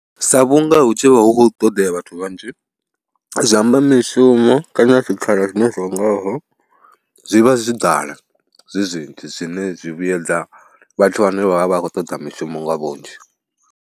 Sa vhunga hu tshi vha hu khou ṱoḓea vhathu vhanzhi zwi, amba mishumo kana zwikhala zwine nga vha zwi vha zwo ḓala, zwi zwinzhi zwine zwi vhuedza vhathu vhane vha vha vha khou toḓa mishumo nga vhunzhi.